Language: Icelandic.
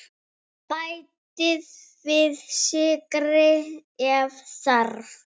Bætið við sykri ef þarf.